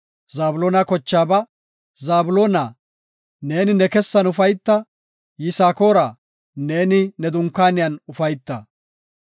Zabloona kochaaba, “Zabloona, neeni ne kessan ufayta; Yisaakora, neeni ne dunkaaniyan ufayta.